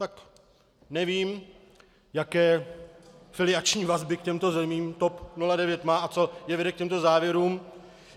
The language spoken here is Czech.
Tak nevím, jaké filiační vazby k těmto zemím TOP 09 má a co je vede k těmto závěrům.